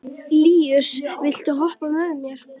Líus, viltu hoppa með mér?